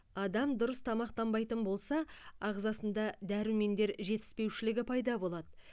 адам дұрыс тамақтанбайтын болса ағзасында дәрумендер жетіспеушілігі пайда болады